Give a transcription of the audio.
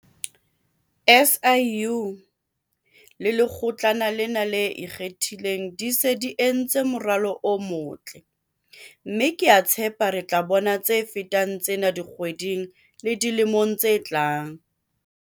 SIU le Lekgotlana lena le Ikgethileng di se di entse moralo o motle, mme ke a tshepa re tla bona tse fetang tsena dikgweding le dilemong tse tlang.